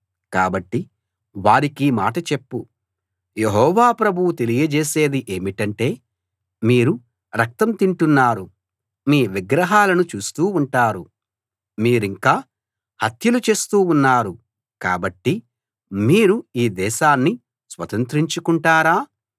కాబట్టి వారికీ మాట చెప్పు యెహోవా ప్రభువు తెలియజేసేది ఏమిటంటే మీరు రక్తం తింటున్నారు మీ విగ్రహాలను చూస్తూ ఉంటారు మీరింకా హత్యలు చేస్తూ ఉన్నారు కాబట్టి మీరు ఈ దేశాన్ని స్వతంత్రించుకుంటారా